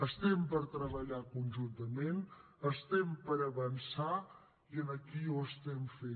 estem per treballar conjuntament estem per avançar i aquí ho estem fent